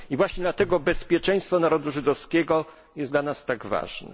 I właśnie dlatego bezpieczeństwo narodu żydowskiego jest dla nas tak ważne.